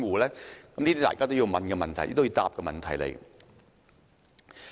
這些是大家都要提出及要求回答的問題。